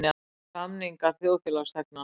Samningar þjóðfélagsþegnanna.